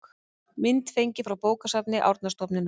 mynd fengin frá bókasafni árnastofnunar